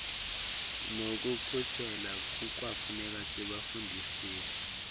nokukhuseleka kukwafuneka sibafundisile